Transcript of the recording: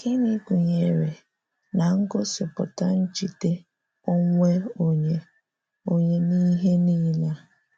Gịnị gụnyere na-ngosipụta njide onwe onye onye n’ihe nile a?